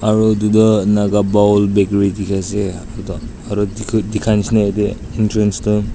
aru etu tu naga bowl bakery dikhi ase aru dikhia nishi na ete entrance tu--